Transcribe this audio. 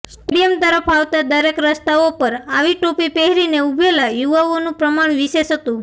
stadium તરફ આવતા દરેક રસ્તાઓ પર આવી ટોપી પહેરીને ઉભેલા યુવાઓનું પ્રમાણ વિશેષ હતું